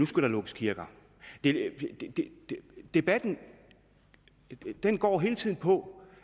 skal lukkes kirker debatten går hele tiden på